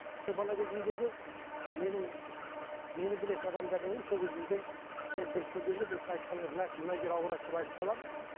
сол бала кезімдегі менің мені білетін адамдардың мен бір көргенде мына кісінің мына жері ауырады деп айтқым қаламын